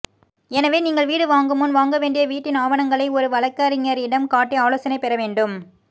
எனவே நீங்கள் வீடு வாங்கும் முன் வாங்க வேண்டிய வீட்டின் ஆவணங்களை ஒரு வழக்கறிஞரிடம் காட்டி ஆலோசனை பெற வேண்டும்